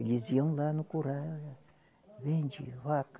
Eles iam lá no curral, vende vaca.